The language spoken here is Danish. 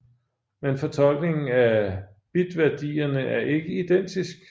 Men fortolkningen af bitvædierne er ikke identisk